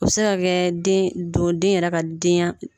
U bi se ka kɛ den don den yɛrɛ ka denya